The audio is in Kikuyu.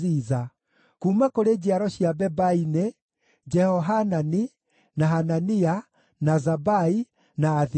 Kuuma kũrĩ njiaro cia Bebai nĩ: Jehohanani, na Hanania, na Zabai, na Athilai.